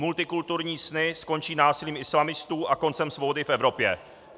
Multikulturní sny skončí násilím islamistů a koncem svobody v Evropě.